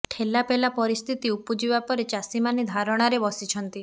ଠେଲାପେଲା ପରିସ୍ଥିତି ଉପୁଜିବା ପରେ ଚାଷୀ ମାନେ ଧାରଣାରେ ବସିଛନ୍ତି